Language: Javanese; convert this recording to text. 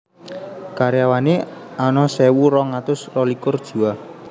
Karyawané ana sewu rong atus rolikur jiwa